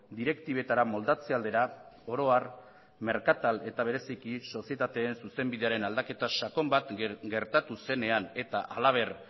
direktibetara moldatze aldera oro har merkatal eta bereziki sozietateen zuzenbidearen aldaketa sakon bat gertatu zenean eta halaber